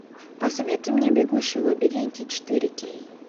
посоветуй мне бегущий в лабиринте четыре кей